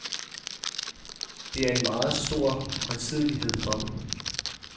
Det er en meget stor højtidelighed for dem.